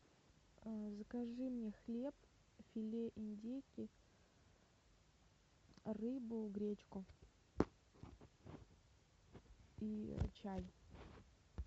закажи мне хлеб филе индейки рыбу гречку и чай